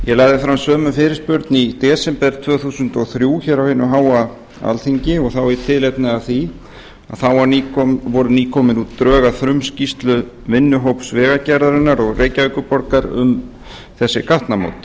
ég lagði fram sömu fyrirspurn í desember tvö þúsund og þrjú hér á hinu háa alþingi og þá í tilefni af því að þá voru nýkomin út drög að frumskýrslu vinnuhóps vegagerðarinnar og reykjavíkurborgar um þessi gatnamót